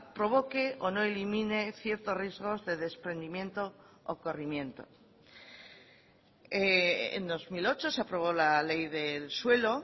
provoque o no elimine ciertos riesgos de desprendimiento o corrimiento en dos mil ocho se aprobó la ley del suelo